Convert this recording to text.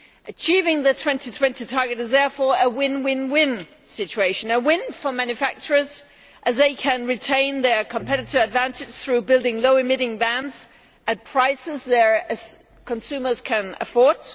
Achieving the 2020 target is, therefore, a win win win situation a win for manufacturers, as they can retain their competitive advantage through building low emitting vans at prices that consumers can afford